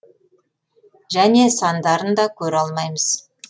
және сандарын да көре алмайсыз